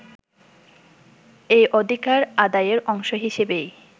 এ অধিকার আদায়ের অংশ হিসেবেই